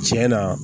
Tiɲɛ na